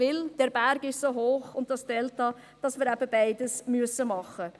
Dies, weil der Berg und das Delta so hoch sind, dass wir beides machen müssen.